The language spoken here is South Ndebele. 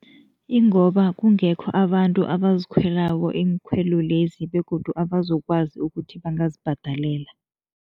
Ingoba kungekho abantu abazikhwelako iinkhwelo lezi begodu abazokwazi ukuthi bangazibhadelela.